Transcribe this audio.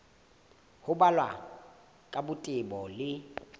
ho balwa ka botebo le